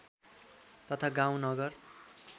तथा गाउँ नगर